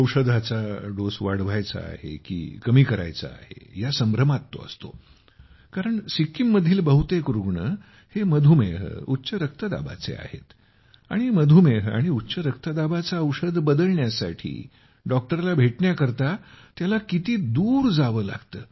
औषधाचा डोस वाढवायचा आहे की कमी करायचा आहे या संभ्रमात तो असतो कारण सिक्कीममधील बहुतेक रुग्ण हे मधुमेह उच्च रक्तदाबाचे आहेत आणि मधुमेह आणि उच्च रक्तदाबाचे औषध बदलण्यासाठी डॉक्टर शोधण्यासाठी त्याला किती दूर जावे लागते